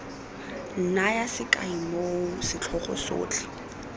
naya sekai moo setlhogo sotlhe